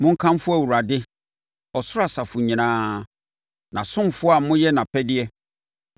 Monkamfo Awurade, ɔsoro asafo nyinaa, nʼasomfoɔ a moyɛ nʼapɛdeɛ.